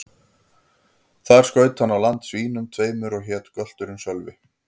Þar skaut hann á land svínum tveimur, og hét gölturinn Sölvi.